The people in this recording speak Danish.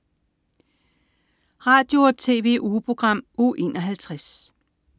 Radio- og TV-ugeprogram Uge 51